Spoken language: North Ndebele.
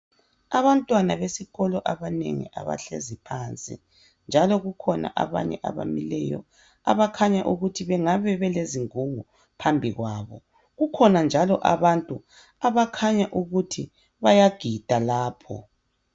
Abantwana besikolo abanengi abahlezi phansi njalo kukhona abanye abamileyo abakhanya ukuthi bengabe belezingungu phambi kwabo. Kukhona njalo abantu abakhanya ukuthi bayagida lapho.